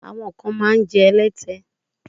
Àwọn kan máa ń jẹ́ ẹlẹ́tẹ.